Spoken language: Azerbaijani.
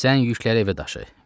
Sən yükləri evə daşı.